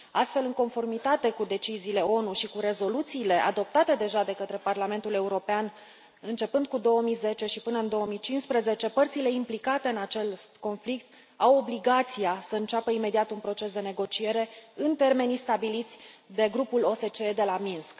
Astfel, în conformitate cu deciziile ONU și cu rezoluțiile adoptate deja de către Parlamentul European începând cu 2010 și până în 2015, părțile implicate în acest conflict au obligația să înceapă imediat un proces de negociere în termenii stabiliți de grupul OSCE de la Minsk.